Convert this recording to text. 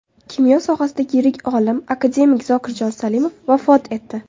Kimyo sohasidagi yirik olim, akademik Zokirjon Salimov vafot etdi.